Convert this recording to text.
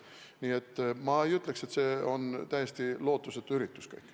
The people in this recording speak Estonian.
Nii et ma ei ütleks, et see on täiesti lootusetu üritus.